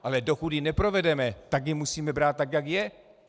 Ale dokud ji neprovedeme, tak ji musíme brát, tak jak je.